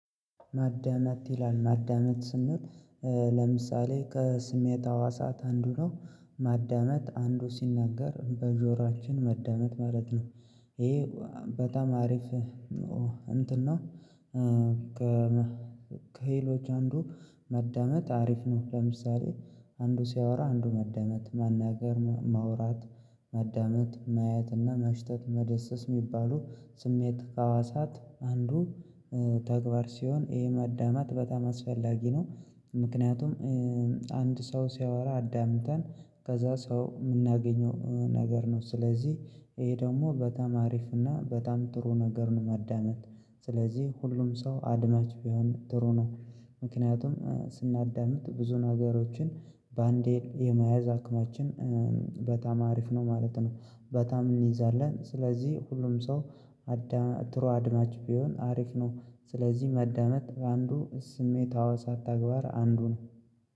ማዳመጥ ይላል ማዳመጥ ስንል ለምሳሌ ከስሜት ህዋሳት አንዱ ነው ማዳመጥ አንዱ ሲናገር በጆሮአችን ማዳመጥ ማለት ነው። ይሄ በጣም አሪፍ ነው እንትን ነው። ከሄሎች አንዱ ማዳመጥ አሪፍ ነው። ለምሳሌ አንዱ ሲያወራ አንዱ ማዳመጥ መናገር ማውራት ማዳመጥ ማየትና ማሽተት መዳሰስ የሚባሉ ስሜት ህዋሳት አንዱ ተግባር ሲሆን ይሄ ማዳመጥ በጣም አስፈላጊ ነው። ምክንያቱም አንድ ሰው ሲያወራ አዳምጠን ከዛ ሰው የምናገኘው ነገር ነው ስለዚህ ይሄ ደግሞ በጣም አሪፍ እና በጣም ጥሩ ነገር ነው። ማዳመጥ ስለዚህ ሁሉም ሰው አድማጭ ቢሆን ጥሩ ነው። ምክንያቱም ስናዳምጥ ብዙ ነገሮችን ባንዴል የመያዝ አቅማችን በጣም አሪፍ ነው ማለት ነው። በጣም እንይዛለን ስለዚህ ሁሉም ሰው ጥሩ አድማጭ ቢሆን አሪፍ ነው። ስለዚህ ማዳመጥ በአንዱ ስሜት ህዋሳት ተግባር አንዱ ነው